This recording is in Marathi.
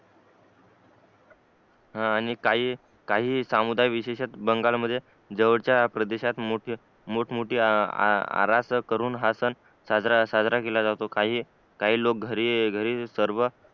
हा आणि काही काही समुदाय विशेषांक बंगाल मध्ये जवळच्या प्रदेशात मोठं मोठ्या अर अर्सना करून हा सण साजरा केला जातो काही लोक घरी सर्व